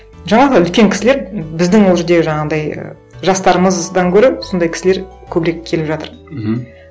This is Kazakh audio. жаңағы үлкен кісілер біздің ол жерде жаңағындай і жастарымыздан гөрі сондай кісілер көбірек келіп жатыр мхм